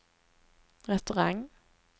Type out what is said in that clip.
restaurang